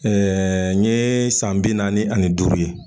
n yee san bi naani ani duuru ye.